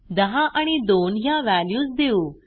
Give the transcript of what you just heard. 10 आणि 2 ह्या व्हॅल्यूज देऊ